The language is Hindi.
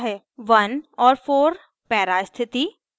* 1 और 4 para स्थिति